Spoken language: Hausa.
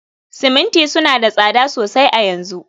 siminti suna da tsada sosai a yanzu